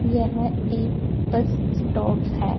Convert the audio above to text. यह एक bus stop है।